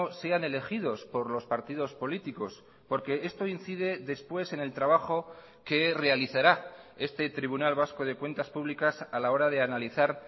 sean elegidos por los partidos políticos porque esto incide después en el trabajo que realizará este tribunal vasco de cuentas públicas a la hora de analizar